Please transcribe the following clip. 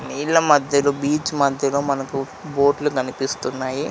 నీళ్ల మధ్యలో బీచ్ మధ్యలో మనకు బోట్లు కనిపిస్తున్నాయి.